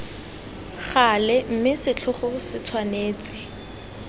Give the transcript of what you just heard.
gale mme setlhogo se tshwanetse